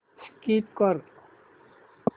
skip कर